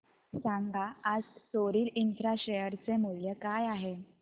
सांगा आज Soril infra share चे मूल्य काय आहे